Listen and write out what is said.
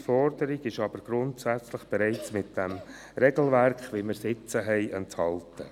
Diese Forderung ist aber grundsätzlich bereits im Regelwerk enthalten, wie wir es jetzt haben.